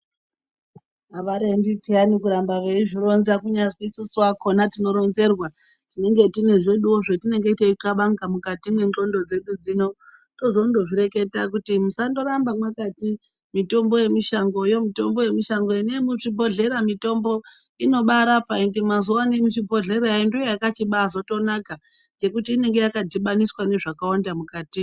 Havarembi peyani kuramba veizvironzwa kunyazwi tisu vakona tinoronzerwa. Tinenge tine zveduvo zvetinenge teikabanga mukati mwenondo dzedu dzino. Tozondo zvireketa kuti musaramba mwakati mitombo yemushangoyo mitombo yemishangoyo endai muzvibhodhlera mitombo yakubarapa. Ende mazuvano yemuzvibhodhlera ndoyo yakachibazotombonaka nekuti inenge yakadhibaniswa nezvakawanda mukatimu.